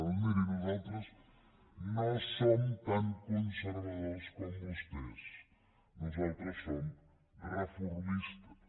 doncs miri nosaltres no som tan conservadors com vostès nosaltres som reformistes